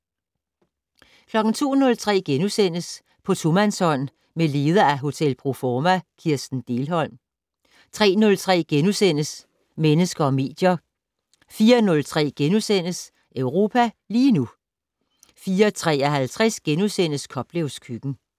02:03: På tomandshånd med leder af Hotel Pro Forma Kirsten Dehlholm * 03:03: Mennesker og medier * 04:03: Europa lige nu * 04:53: Koplevs køkken *